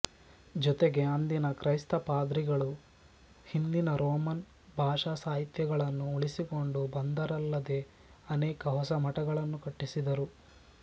ಜೊತೆಗೆ ಅಂದಿನ ಕ್ರೈಸ್ತ ಪಾದ್ರಿಗಳು ಹಿಂದಿನ ರೋಮನ್ ಭಾಷಾಸಾಹಿತ್ಯಗಳನ್ನು ಉಳಿಸಿಕೊಂಡು ಬಂದರಲ್ಲದೆ ಅನೇಕ ಹೊಸ ಮಠಗಳನ್ನು ಕಟ್ಟಿಸಿದರು